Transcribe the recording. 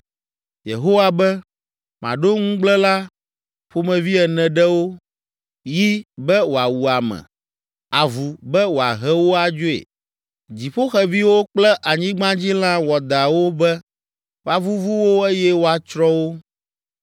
Yehowa be, “Maɖo nugblẽla ƒomevi ene ɖe wo: yi be wòawu ame, avu be wòahe wo adzoe, dziƒoxeviwo kple anyigbadzilã wɔadãwo be, woavuvu wo eye woatsrɔ̃ wo.